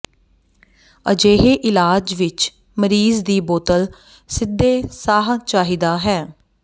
ਅਜਿਹੇ ਇਲਾਜ ਵਿੱਚ ਮਰੀਜ਼ ਦੀ ਬੋਤਲ ਸਿੱਧੇ ਸਾਹ ਚਾਹੀਦਾ ਹੈ